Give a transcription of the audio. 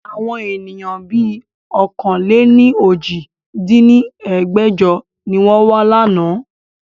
Àwọn ènìyàn bí ọ̀kan-lé-ní-ojì dín ní ẹgbẹ́jọ ni wọn wa láánaà